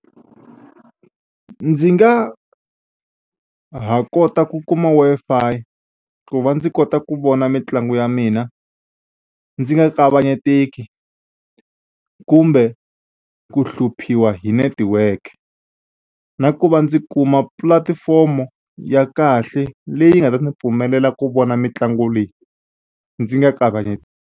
Ndzi nga ha kota ku kuma Wi Fi ku va ndzi kota ku vona mitlangu ya mina ndzi nga kavanyeteki kumbe ku hluphiwa hi network na ku va ndzi kuma pulatifomo ya kahle leyi nga ta ni pfumelela ku vona mitlangu leyi ndzi nga .